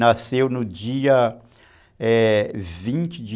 Nasceu no dia vinte de